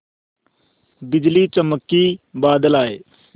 बिजली चमकी बादल आए